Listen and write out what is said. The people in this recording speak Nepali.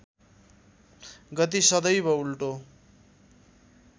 गति सदैव उल्टो